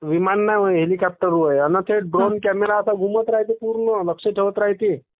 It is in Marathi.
विमान नाही हेलिकॉप्टर वय अन द्रोण कॅमेरा असा घुमत रायते पूर्ण लक्ष ठेवत रायते.